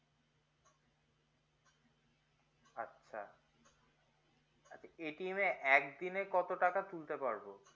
হ্যা এ একদিনে কত টাকা তুলতে পারবো